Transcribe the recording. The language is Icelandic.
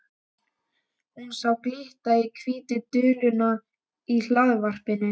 Hún sá glitta á hvítu duluna í hlaðvarpanum.